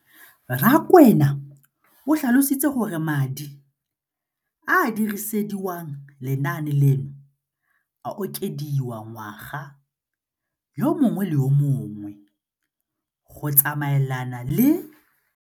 Rakwena o tlhalositse gore madi a a dirisediwang lenaane leno a okediwa ngwaga yo mongwe le yo mongwe go tsamaelana le.